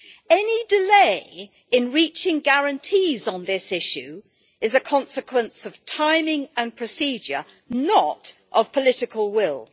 Any delay in reaching guarantees on this issue is a consequence of timing and procedure, not of political will.